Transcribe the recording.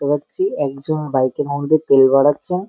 দেখতে পাচ্ছি একজন বাইকে -এর মধ্যে তেল ভরাচ্ছে।